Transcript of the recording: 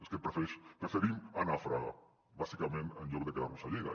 és que preferim anar a fraga bàsicament en lloc de quedar nos a lleida